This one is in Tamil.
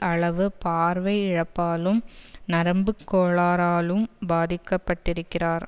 அளவு பார்வை இழப்பாலும் நரம்புக் கோளாறாலும் பாதிக்கப்பட்டிருக்கிறார்